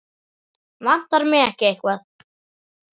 Vantar mig ekki hvað?